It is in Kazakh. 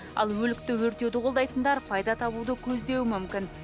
ал өлікті өртеуді қолдайтындар пайда табуды көздеуі мүмкін